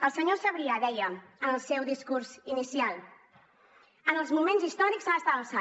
el senyor sabrià deia en el seu discurs inicial en els moments històrics s’ha d’estar a l’alçada